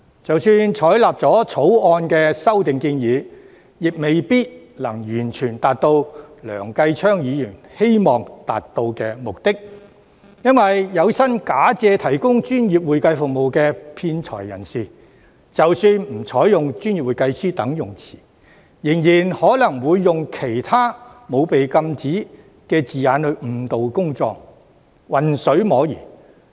即使採納《條例草案》的修訂建議，亦未必能夠完全達到梁繼昌議員希望達到的目的，原因是有心假借提供專業會計服務的騙財人士，即使不採用"專業會計師"等稱謂，仍然可能會用其他沒有被禁止的字眼來誤導公眾，混水摸魚。